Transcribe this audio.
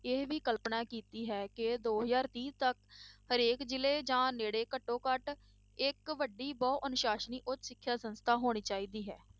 ਇਹ ਵੀ ਕਲਪਨਾ ਕੀਤੀ ਹੈ ਕਿ ਦੋ ਹਜ਼ਾਰ ਤੀਹ ਤੱਕ ਹਰੇਕ ਜ਼ਿਲ੍ਹੇ ਜਾਂ ਨੇੜੇ ਘੱਟੋ ਘੱਟ ਇੱਕ ਵੱਡੀ ਬਹੁ ਅਨੁਸਾਸਨੀ ਉੱਚ ਸਿੱਖਿਆ ਸੰਸਥਾ ਹੋਣੀ ਚਾਹੀਦੀ ਹੈ।